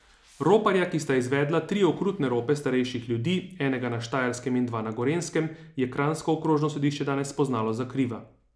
Roparja, ki sta izvedla tri okrutne rope starejših ljudi, enega na Štajerskem in dva na Gorenjskem, je kranjsko okrožno sodišče danes spoznalo za kriva.